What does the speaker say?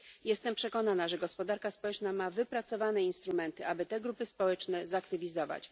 Jestem przekonana, że gospodarka społeczna ma wypracowane instrumenty, aby te grupy społeczne zaktywizować.